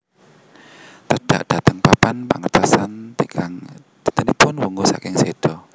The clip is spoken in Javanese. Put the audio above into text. Tedhak dhateng papan pangentosan tigang dintenipun wungu saking séda